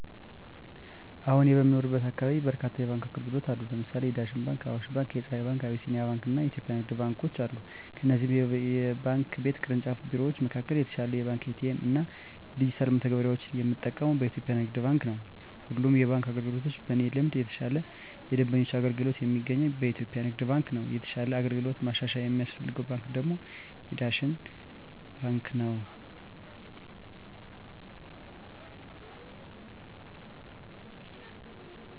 አወ እኔ በምኖርበት አካባቢ በርካታ የባንክ አገልግሎት አሉ ለምሳሌ የዳሽን ባንክ :አዋሽ ባንክ :የፀሀይ ባንክ : የአቢሲኒያ ባንክ አና የኢትዮጵያ ንግድ ባንኮች አሉ ከእነዚህ የባንክ ቤት ቅርንጫፍ ቢሮወች መካከል የተሻለ የባንክ ኤ.ቲ.ኤ.ም እና ዲጅታል መተግበሪያወችን የምጠቀመው በኢትዮጵያ የንግድ ባንክ ነው። በሁሉም የባንክ አገልግሎቶች በእኔ ልምድ የተሻለ የደንበኞች አገልግሎት የሚገኘው በኢትዮጵያ ንግድ ባንክ ነው የተሻለ አገልግሎት ማሻሻያ የሚያስፈልገው ባንክ ደግሞ የዳሽን ባንክ ነው።